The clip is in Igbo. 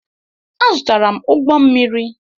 Azụtara m ụgbọ mmiri.